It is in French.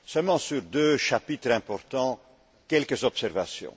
Seulement sur deux chapitres importants, quelques observations.